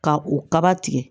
Ka u ka kaba tigɛ